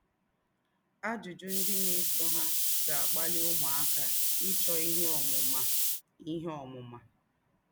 Àjụ́jụ́ ndí́ nà-èsọ̀ há gà-àkpalì ứmụ́áká ịchọ́ íhè ǒmụ́má. íhè ǒmụ́má.